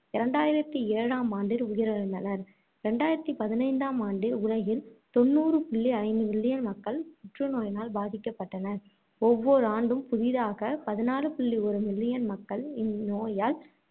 இரண்டாயிரத்து ஏழாம் ஆண்டில் உயிர் இழந்தனர். இரண்டாரத்தி பதினைந்தாம் ஆண்டில் உலகில் தொண்ணூறு புள்ளி ஐந்து million மக்கள் புற்று நோயினால் பாதிக்கப்பட்டனர். ஒவ்வொரு ஆண்டும் புதிதாக பதிநாலு புள்ளி ஒரு மில்லியன் மக்கள் இந்நோயால்